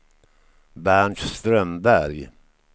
Bernt Strömberg